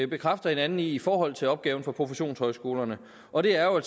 bekræfter hinanden i i forhold til opgaven på professionshøjskolerne og det er jo